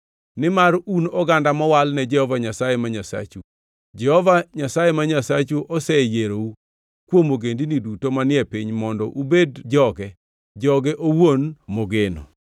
Nimar un oganda mowal ne Jehova Nyasaye ma Nyasachu. Jehova Nyasaye ma Nyasachu oseyierou kuom ogendini duto manie piny mondo ubed joge, joge owuon mogeno.